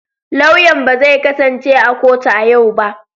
Lauyan ba zai kasance a kotu a yau ba.